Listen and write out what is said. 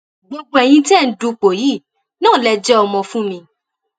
gbogbo ẹyin tẹ ẹ ń dupò yìí náà lè jẹ ọmọ fún mi